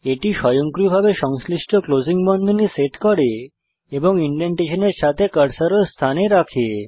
এটি স্বয়ংক্রিয়ভাবে সংশ্লিষ্ট ক্লোসিং বন্ধনী সেট করে এবং ইনডেন্টেশন এর সাথে কার্সর ও স্থানে রাখে